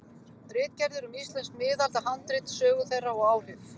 Ritgerðir um íslensk miðaldahandrit, sögu þeirra og áhrif.